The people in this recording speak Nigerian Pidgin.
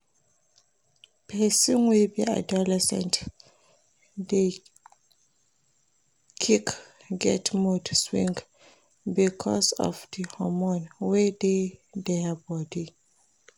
Persin wey be adolescent de qick get mood swing because of di hormones wey dey their body